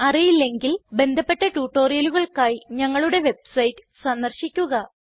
അറിയില്ലെങ്കിൽ ബന്ധപ്പെട്ട ട്യൂട്ടോറിയലുകൾക്കായി ഞങ്ങളുടെ വെബ്സൈറ്റ് സന്ദർശിക്കുക